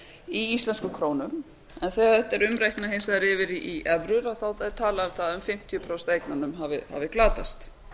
í íslenskum krónum en þegar þetta er hins vegar umreiknað yfir í evrur þá er talað um að fimmtíu prósent af eignunum hafi glatast